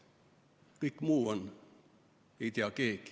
Mis kõik muu on, seda ei tea keegi.